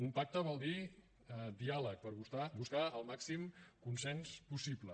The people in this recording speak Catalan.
un pacte vol dir diàleg per buscar el màxim consens possible